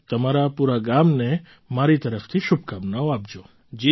જુઓ તમારા પૂરા ગામને મારી તરફથી શુભકામનાઓ આપજો